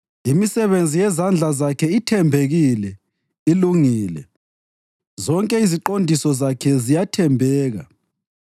Imisebenzi yezandla zakhe ithembekile, ilungile; zonke iziqondiso zakhe ziyathembeka.